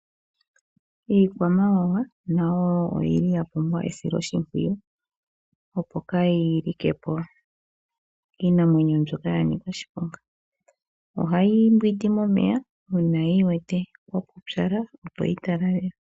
Iikwamawawa nayo oya pumbwa esiloshimpwiyu, opo kaayi like po kiinamwenyo mbyoka ya ka oshiponga. Ohayi mbwindi momeya uuna yi wete kwa pupyala, opo yi talalelwe.